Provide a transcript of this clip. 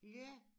Ja